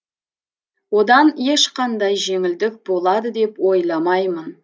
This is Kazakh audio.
одан ешқандай жеңілдік болады деп ойламаймын